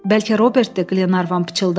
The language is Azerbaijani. Bəlkə Robertdir, Qlenarvan pıçıldadı.